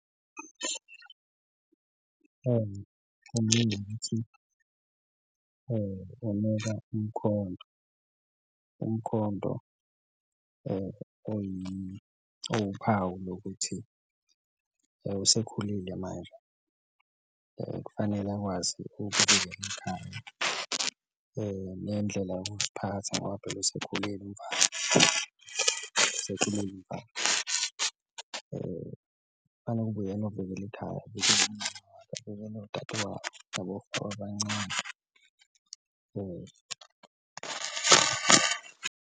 Ukuthi unikwa umkhonto, umkhonto owuphawu lokuthi usekhulile manje kufanele akwazi ikhaya nendlela yokuziphatha ngoba phela usekhulile umfana, usekhulile umfana kufane kube uyena ovikela ikhaya abancane .